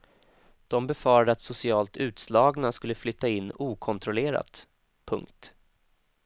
De befarade att socialt utslagna skulle flytta in okontrollerat. punkt